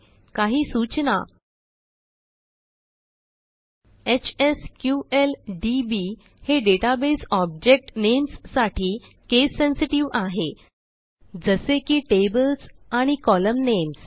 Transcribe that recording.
काही सूचना एचएसक्यूएलडीबी हे डेटाबेस ऑब्जेक्ट नेम्स साठी केस सेन्सेटिव्ह आहे जसे की टेबल्स एंड कोलम्न नेम्स